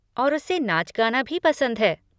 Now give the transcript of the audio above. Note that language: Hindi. और उसे नाच गाना भी पसंद है।